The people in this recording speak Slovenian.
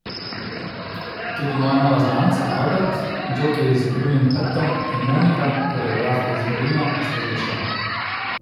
Tudi moja nova znanca, Albert, džokej z ukrivljenim hrbtom, in Monika, koreografka iz Berlina, sta že odšla.